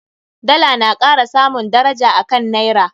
Dala na kara samun daraja a kan Naira.